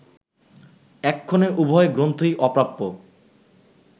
এক্ষণে উভয় গ্রন্থই অপ্রাপ্য